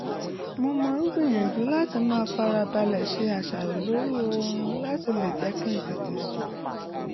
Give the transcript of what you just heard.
mo máa ń gbìyànjú láti máa farabalẹ̀ ṣe àṣàrò lórí oorun láti lè jẹ́ kí n tètè sùn